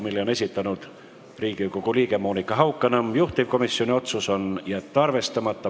Selle on esitanud Riigikogu liige Monika Haukanõmm, juhtivkomisjoni otsus: jätta arvestama.